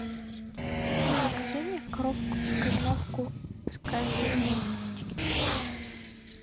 закажи мне коровку из кореновки с карамелью на палочке